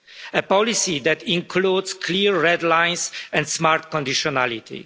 A policy that includes clear red lines and smart conditionality.